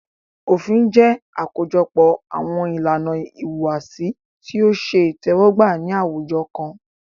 Òfin jẹ́ àkójọpọ̀ àwọn ìlànà ìhùwàsí tí o ṣe itẹ́wọ́gbà ní àwùjọ kan.